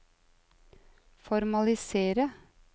formalisere